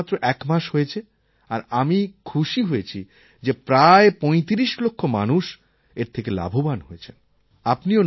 এই সুবিধা মাত্র একমাস হয়েছে আর আমি খুশি হয়েছি যে প্রায় ৩৫ লক্ষ মানুষ এর থেকে লাভবান হয়েছেন